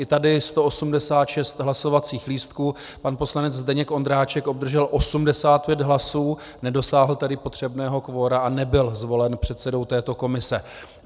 I tady 186 hlasovacích lístků, pan poslanec Zdeněk Ondráček obdržel 85 hlasů, nedosáhl tedy potřebného kvora a nebyl zvolen předsedou této komise.